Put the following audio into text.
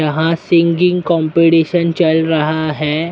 यहां singing competition चल रहा है।